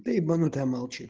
ты ебанутая молчи